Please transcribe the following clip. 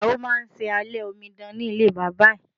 Ìyàwó máa ṣe alẹ́ omidan ẹ̀ nílé bàbá ẹ̀.